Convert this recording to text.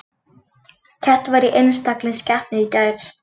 Keppt var í einstaklingskeppni í gær